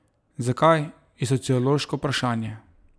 Zakaj, je sociološko vprašanje.